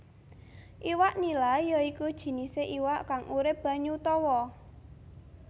Iwak nila ya iku jinisé iwak kang urip banyu tawa